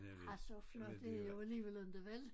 Ah så flot er det jo alligevel inte vel